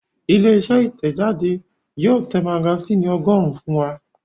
Ilé-iṣẹ́ Ìtẹ̀jáde náà yóò tẹ magasínì ọgọ́rùn-ún fún wa.